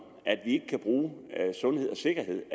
at vi ikke kan bruge sundhed og sikkerhed